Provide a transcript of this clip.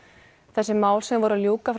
þessi mál sem var að ljúka